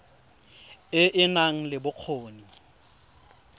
e e nang le bokgoni